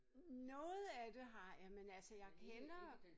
Noget af det har jeg men altså jeg kender